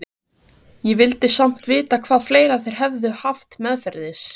Ég vildi samt vita hvað fleira þeir hefðu haft meðferðis.